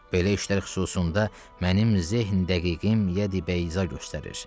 Belə işlər xüsusunda mənim zehn-dəqiqim yədi-bəyza göstərir.